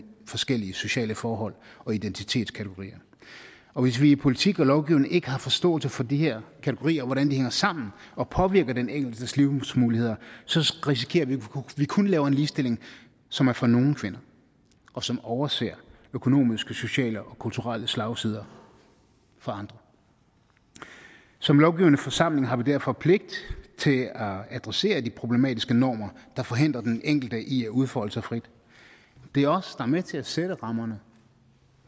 forskellige sociale forhold og identitetskategorier og hvis vi i politik og lovgivning ikke har forståelse for de her kategorier og hvordan de hænger sammen og påvirker den enkeltes livsmuligheder så risikerer vi at vi kun laver en ligestilling som er for nogle kvinder og som overser økonomiske sociale og kulturelle slagsider for andre som lovgivende forsamling har vi derfor pligt til at adressere de problematiske normer der forhindrer den enkelte i at udfolde sig frit det er os er med til at sætte rammerne